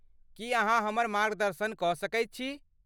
की अहाँ हमर मार्गदर्शन कऽ सकैत छी?